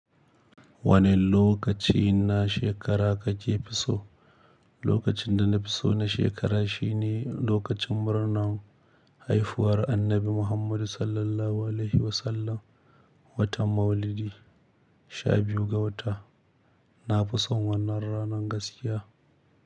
Wane lokaci na shekara kake fi so? Lokacin da na fi so na shekara shine lokacin murnar haifuwar Annabi Muhammadu Sallallahu Alaihi Wasallam, watan Maulidi, sha biyu ga wata. Na fi son wannan ranar gaskiya.